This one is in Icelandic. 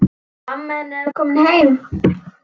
Mamma hennar er komin heim.